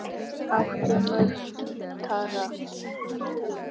Áttu marga gítara?